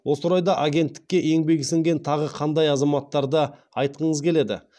осы орайда агенттікке еңбегі сіңген тағы қандай азаматтарды айтқыңыз келеді